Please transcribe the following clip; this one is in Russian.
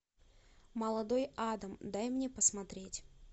молодой адам дай мне посмотреть